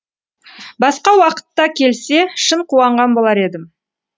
басқа уақытта келсе шын қуанған болар едім